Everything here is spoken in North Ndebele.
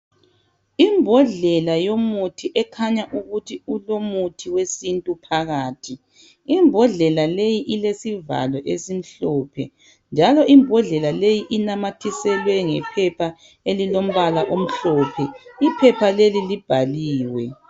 Imbodlela yomuthi ekhanya ukuthi ilomuthi wesintu phakathi imbodlela leyi ilesivalo esimhlophe njalo imbodlela leyi inamathiselwe ngephapha elilombala omhlophe iphepha leli libhaliwe.